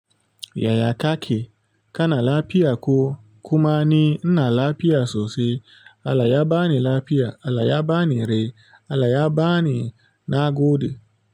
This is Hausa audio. Yaya kaki, kana lafiya ko kuma ni inna lafiya sosai. Allah ya bani lafiya, Allah ya bani raye Allah ya bani na gode.